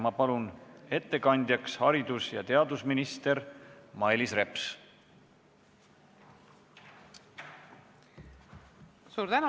Ma palun ettekandjaks haridus- ja teadusminister Mailis Repsi!